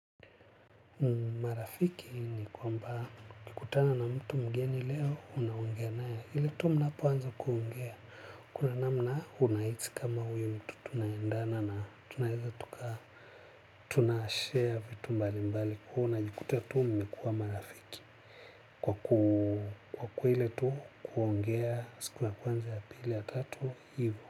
Marafiki ni kwamba ukikutana na mtu mgeni leo unaongea naye ile tu mnapoanza kuongea. Kuna namna unahisi kama uyu mtu tunaendana na tunaweza tuka tunashare vitu mbali mbali. Huwa unajikuta tu mumekuwa marafiki kwa. Kwa kuwa ile tu kuongea siku ya kwanza, ya pili, ya tatu, hivo.